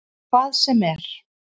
Í hvað sem er.